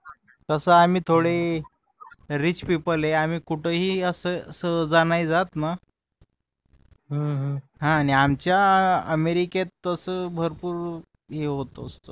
तस आम्ही थोडे रिच पीपल आहे आम्ही कुठेही सहज नाही जात हा. आणि आमच्या अमेरिकात तस भरपूर हे होत असत